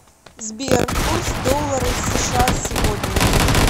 сбер курс доллара сша сегодня